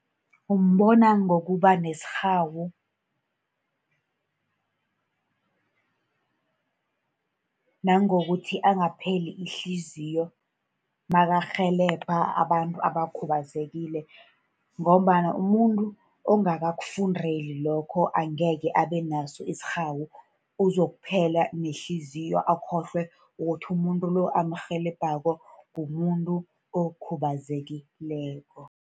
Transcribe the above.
Umbona ngokuba nesirhawu, nangokuthi angapheli ihliziyo nakarhelebha abantu abakhubazekile. Ngombana umuntu ongakakufundeli lokho angekhe abe naso isirhawu. uzokuphela nehliziyo, akhohlwe ukuthi umuntu lo amrhelebhako mumuntu okhubazekileko.